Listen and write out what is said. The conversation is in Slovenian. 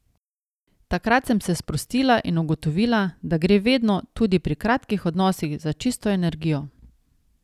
Takrat sem se sprostila in ugotovila, da gre vedno, tudi pri kratkih odnosih, za čisto energijo.